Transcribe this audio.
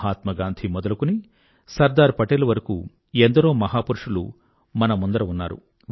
మహాత్మా గాంధీ మొదలుకొని సర్దార్ పటేల్ వరకూ ఎందరో మహాపురుషులు మన ముందర ఉన్నారు